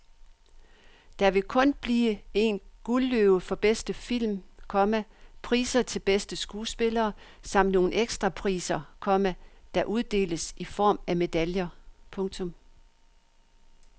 Der vil kun blive en guldløve for bedste film, komma priser til bedste skuespillere samt nogle ekstra priser, komma der uddeles i form af medaljer. punktum